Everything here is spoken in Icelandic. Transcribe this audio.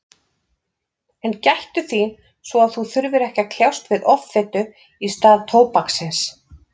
En gættu þín svo að þú þurfir ekki að kljást við offitu í stað tóbaksins.